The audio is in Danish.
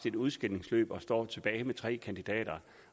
et udskilningsløb og står tilbage med tre kandidater